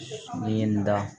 Ni ye n da